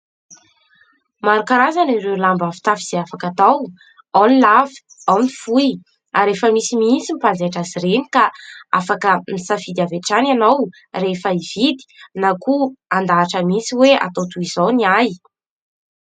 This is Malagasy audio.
Maro karazana ireo lamba fitafy izay afaka atao : ao ny lava ao ny fohy ary rehefa misimisy mpanjaitra azy ireny ka afaka misafidy avy hatrany ianao rehefa hividy na koa handahatra mihitsy hoe atao toy izao ny ahy.